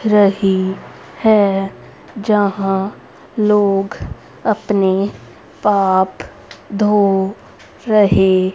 रही है जहां लोग अपने पाप धो रहे--